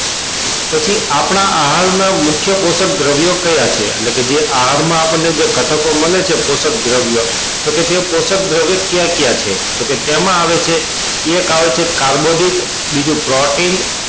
પછી આપણા આહાર ના મુખ્ય કોષ્ક દ્રવ્યો કયા કયા એટલે કે જે આહાર માં આપણને જે ઘટકો મળે છે કોષ્ક દ્રવ્યો તો કે તે કોષ્ક દ્રવ્યો કયા કાયબ છે તો કે તેમાં આવે છે એક આવે છે કાર્બોદિત બીજો protin